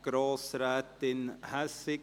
Grossrätin Hässig, Sie haben das Wort.